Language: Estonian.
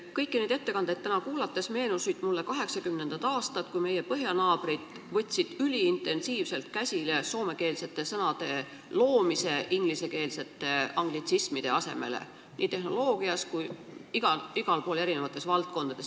Kõiki neid ettekandeid täna kuulates meenusid mulle 1980. aastad, kui meie põhjanaabrid võtsid üliintensiivselt käsile soomekeelsete sõnade loomise ingliskeelsete, anglitsismide asemele – seda nii tehnoloogia valdkonnas kui muudes valdkondades.